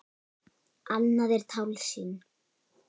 Annað er tálsýn.